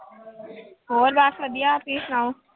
ਹੋਰ ਬਸ ਵਧੀਆ ਤੁਸੀਂ ਸੁਣਾਓ।